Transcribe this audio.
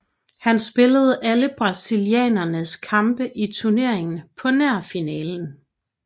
Han spillede alle brasilianernes kampe i turneringen på nær finalen